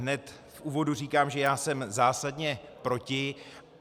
Hned v úvodu říkám, že já jsem zásadně proti.